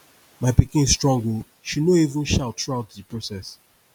my pikin strong oo she no even shout throughout the process